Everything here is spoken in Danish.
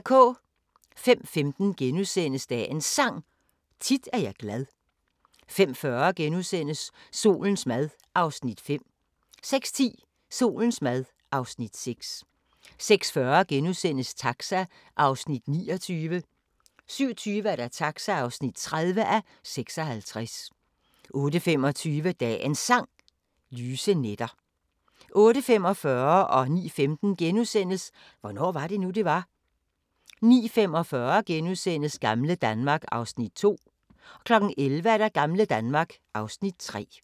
05:15: Dagens Sang: Tit er jeg glad * 05:40: Solens mad (Afs. 5)* 06:10: Solens mad (Afs. 6) 06:40: Taxa (29:56)* 07:20: Taxa (30:56) 08:25: Dagens Sang: Lyse nætter 08:45: Hvornår var det nu, det var? * 09:15: Hvornår var det nu, det var? * 09:45: Gamle Danmark (Afs. 2)* 11:00: Gamle Danmark (Afs. 3)